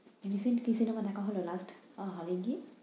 Recent কি cinema দেখা হলো last hall এ গিয়ে?